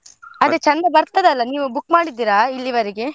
ಚೆಂದ ಬರ್ತದಲ್ಲ ನೀವು book ಮಾಡಿದ್ದೀರಾ ಇಲ್ಲಿವರೆಗೆ?